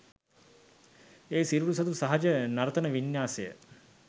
ඒ සිරුරු සතු සහජ නර්තන වින්‍යාසය